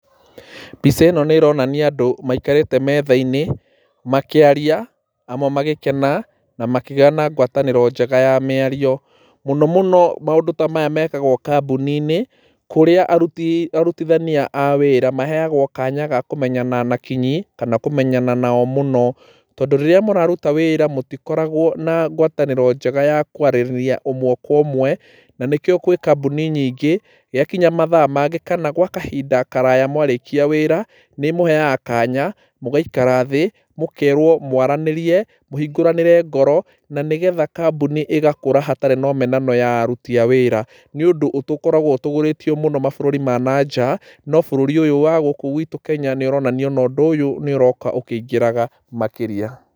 Mbica ĩno nĩ ĩronania andũ maikarĩte metha-inĩ makĩaria, amwe magĩkena na makĩgĩa na ngwatanĩro njega ya mĩario. Mũno mũno maũndũ ta maya mekagwo kambuni-inĩ kũrĩa aruti arutithania a wĩra maheagwo kanya ga kũmenyana na kinyi kana kũmenyana nao mũno, tondũ rĩrĩa mũraruta wĩra mũtikoragwo na ngwatanĩro njega ya kwaranĩria ũmwe kwa ũmwe, na nĩkĩo gwĩ kambũni nyingĩ gwakinya nĩ mathaa mangĩ kana gwa kahinda karaya mwarĩkia wĩra, nĩ ĩmũheaga kanya mũgaikara thĩ mũkerwo mwaranĩrie, mũhingũranĩre ngoro na nĩgetha kambuni ĩgakũra hatarĩ na ũmenano wa aruti a wĩra. Nĩ ũndũ nitũkoragwo ũtũgĩrĩtio mũno mabũrũri ma nja no bũrũri ũyũ witu wa Kenya nĩ ũronania ona ũndũ ũyũ nĩ ũroka ũkĩingĩraga makĩria.